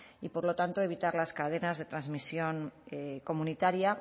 y por lo tanto evitar las cadenas de transmisión comunitaria